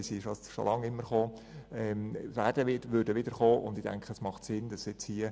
Solche Vorstösse wurden immer wieder und würden immer wieder eingereicht.